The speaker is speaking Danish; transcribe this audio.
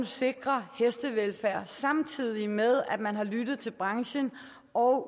sikrer hestevelfærd samtidig med at man har lyttet til branchen og